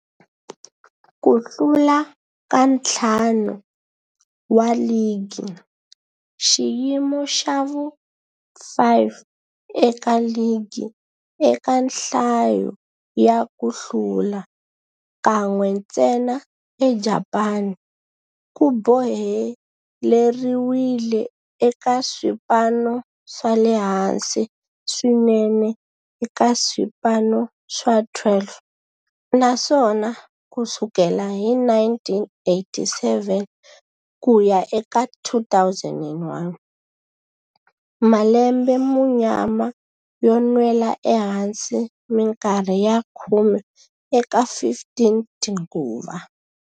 Ku hlula ka ntlhanu wa ligi, xiyimo xa vu-5 eka ligi eka nhlayo ya ku hlula, kan'we ntsena eJapani, ku boheleriwile eka swipano swa le hansi swinene eka swipano swa 12, naswona ku sukela hi 1987 ku ya eka 2001, malembe ya munyama yo nwela ehansi minkarhi ya khume eka 15 tinguva.